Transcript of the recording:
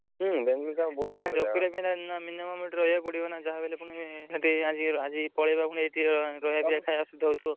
Minimum ସେଠି ରହିବାକୁ ପଡିବନା ଯାହାବି ହେଲେ ପୁଣି ଖାଇଆକୁ ଅସୁବିଧା ହଉଥିବ।